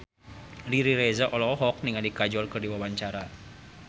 Riri Reza olohok ningali Kajol keur diwawancara